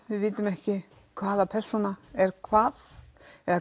við vitum ekki hvaða persóna er hvað eða